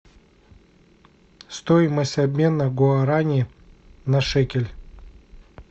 стоимость обмена гуарани на шекель